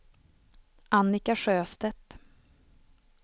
Annika Sjöstedt